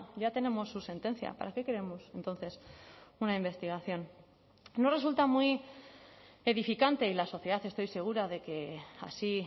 ya tenemos su sentencia para qué queremos entonces una investigación no resulta muy edificante y la sociedad estoy segura de que así